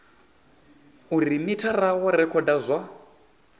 uri mithara wo rekhoda zwa